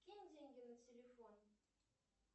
кинь деньги на телефон